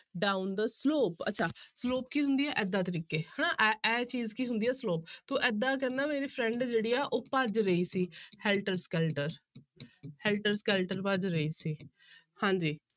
Down the slope ਅੱਛਾ slope ਕੀ ਹੁੰਦੀ ਹੈ ਏਦਾਂ ਤਰੀਕੇ ਹਨਾ ਇਹ, ਇਹ ਚੀਜ਼ ਕੀ ਹੁੰਦੀ ਹੈ slope ਤਾਂ ਏਦਾਂ ਕਹਿੰਦਾ ਮੇਰੀ friend ਜਿਹੜੀ ਹੈ ਉਹ ਭੱਜ ਰਹੀ ਸੀ helter-skelter helter-skelter ਭੱਜ ਰਹੀ ਸੀ ਹਾਂਜੀ।